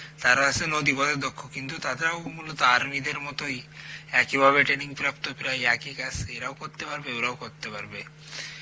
তারা হচ্ছে নদীপথের দুঃখ কিন্তু তারাও মূলত আর্মিদের মতই একইভাবে training প্রাপ্ত প্রায় একই কাজ এরাও করতে পারবে ওরাও করতে পারবে